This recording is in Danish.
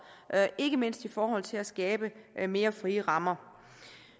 ikke mindst i forhold til at skabe mere frie rammer